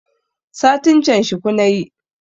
Satin can shuku nayi